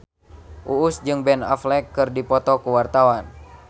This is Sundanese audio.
Uus jeung Ben Affleck keur dipoto ku wartawan